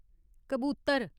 कबूतर